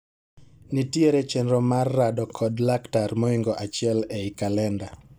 Nitiere chenro mar rado kod laktar moingo achiel ei kalenda